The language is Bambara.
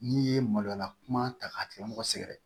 N'i ye maloya kuma ta k'a tigi mɔgɔ sɛgɛrɛ